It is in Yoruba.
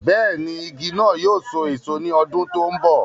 bẹ́ẹ̀ni, igi náà yóò so èso ní ọdún tó ń bọ̀